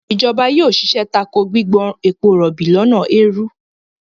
ìjọba yóò ṣiṣẹ́ tako gbígbọ́n ebo rọ̀bì lọ́nà èèrú.